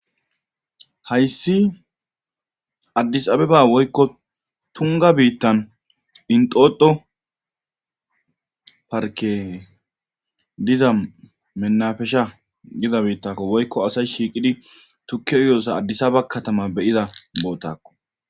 hayssi addis abeba woykko tunga biittan inxoxo parke diza menafesha giza biittakko woykko asay shiiqidi tukkiyoossa addisaba katama beyiza bootakko